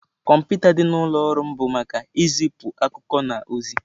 Kọmputa dị n'ụlọ ọrụ m bụ maka izipu akụkọ na ozi-e.